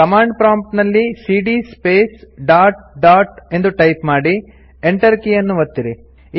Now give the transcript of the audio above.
command prompt ನಲ್ಲಿ ಸಿಡಿಯ space dot dot ಎಂದು ಟೈಪ್ ಮಾಡಿ Enter ಕೀಯನ್ನು ಓತ್ತಿರಿ